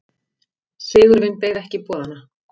Sigurvin beið ekki boðanna.